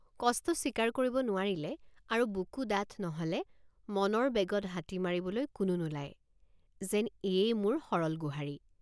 কষ্ট স্বীকাৰ কৰিব নোৱাৰিলে আৰু বুকু ডাঠ নহ'লে মনৰ বেগত হাতী মাৰিবলৈ কোনো নোলায় যেন এয়েই মোৰ সৰল গোহাৰি।